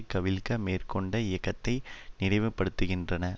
கவிழ்க்க மேற்கொண்ட இயக்கத்தை நினைவுப்படுத்துகின்றன